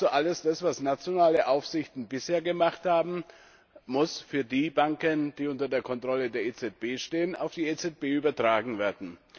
Also alles das, was nationale Aufsichtsbehörden bisher gemacht haben, muss für die Banken, die unter der Kontrolle der EZB stehen, auf die EZB übertragen werden.